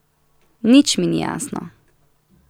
Nič mi ni jasno.